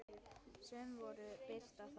Sum voru birt þá.